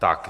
Tak.